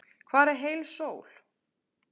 Hvar er heil sól?